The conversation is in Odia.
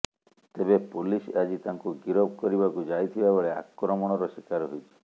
ତେବେ ପୋଲିସ ଆଜି ତାଙ୍କୁ ଗିରଫ କରିବାକୁ ଯାଇଥିବା ବେଳେ ଆକ୍ରମଣର ଶିକାର ହୋଇଛି